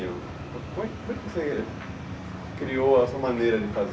Como é que você criou a sua maneira de fazer?